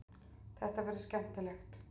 Þetta verður skemmtilegt.